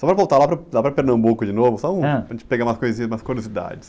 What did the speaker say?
Só para voltar lá para o, lá para Pernambuco de novo...h.ó um, para a gente pegar umas coisinhas, umas curiosidades.